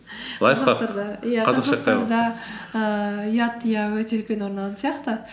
ііі ұят иә өте үлкен орын алатын сияқты